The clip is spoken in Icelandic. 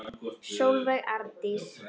Sólveig Arndís.